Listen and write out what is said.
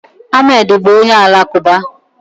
Ahmed bụ onye Alakụba